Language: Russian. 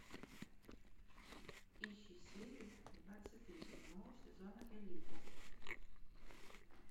ищи серию двадцать три седьмого сезона элита